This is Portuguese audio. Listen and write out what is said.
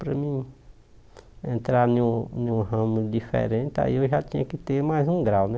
Para mim, entrar num num ramo diferente, aí eu já tinha que ter mais um grau, né?